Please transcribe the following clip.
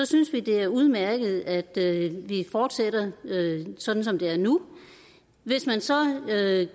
synes vi det er udmærket at vi fortsætter sådan som det er nu hvis man så